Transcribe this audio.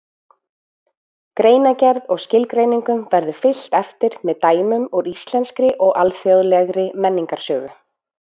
Greinargerð og skilgreiningum verður fylgt eftir með dæmum úr íslenskri og alþjóðlegri menningarsögu.